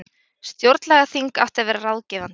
Stjórnlagaþing átti að vera ráðgefandi